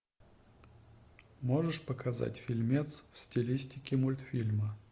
можешь показать фильмец в стилистике мультфильма